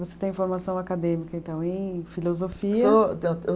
Você tem formação acadêmica, então, em filosofia? Sou